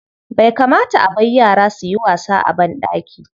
Bai kamata a bar yara su yi wasa a banɗaki.